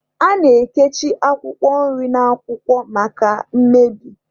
A na-ekichi akwụkwọ nri na akwụkwọ maka mmebi.